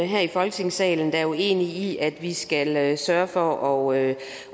her i folketingssalen der er uenige i at vi skal sørge for at